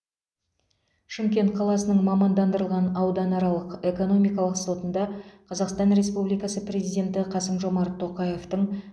шымкент қаласының мамандандырылған ауданаралық экономикалық сотында қазақстан республикасы президенті қасым жомарт тоқаевтың